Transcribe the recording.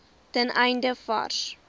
ten einde vars